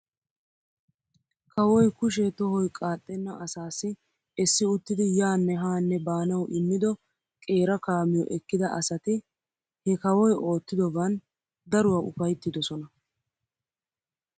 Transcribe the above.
Kawoy kushee tohoy qaaxxenna asaassi esi uttidi yaanne haanne baanaw immido qeera kaamiyoo ekkida asati he kawoy oottidoban daruwaa ufayttidosona.